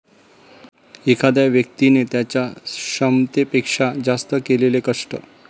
एखाद्या व्यक्तिने त्यांच्या क्षमतेपेक्षा जास्त केलेले कष्ट.